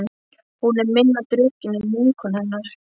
Hún er minna drukkin en vinkona hennar.